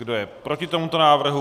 Kdo je proti tomuto návrhu?